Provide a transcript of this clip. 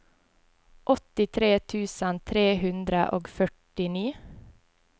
åttitre tusen tre hundre og førtini